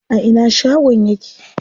A ina shagon yake?